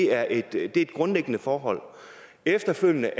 er et grundlæggende forhold efterfølgende